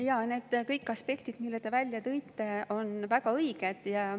Jaa, kõik need aspektid, mis te välja tõite, on väga õiged.